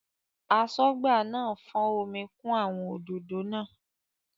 Aṣọ́gbà náà fọ́n omi kún àwọn òdòdó náà.